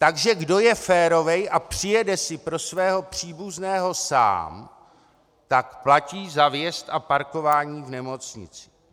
Takže kdo je férový a přijede si pro svého příbuzného sám, tak platí za vjezd a parkování v nemocnici.